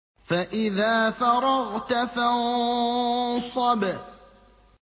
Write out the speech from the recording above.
فَإِذَا فَرَغْتَ فَانصَبْ